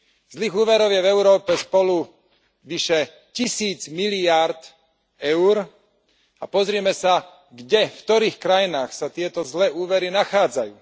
Zlých úverov je v Európe spolu vyše 1000 miliárd EUR a pozrime sa kde, v ktorých krajinách, sa tieto zlé úvery nachádzajú.